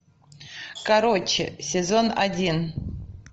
короче сезон один